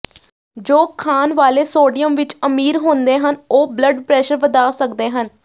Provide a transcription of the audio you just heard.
ਜੋ ਖਾਣ ਵਾਲੇ ਸੋਡੀਅਮ ਵਿਚ ਅਮੀਰ ਹੁੰਦੇ ਹਨ ਉਹ ਬਲੱਡ ਪ੍ਰੈਸ਼ਰ ਵਧਾ ਸਕਦੇ ਹਨ